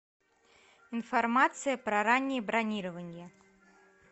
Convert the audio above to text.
информация про раннее бронирование